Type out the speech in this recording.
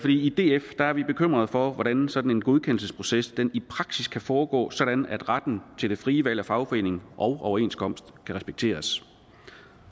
i df er vi bekymrede for hvordan sådan en godkendelsesproces i praksis kan foregå sådan at retten til det frie valg af fagforening og overenskomst kan respekteres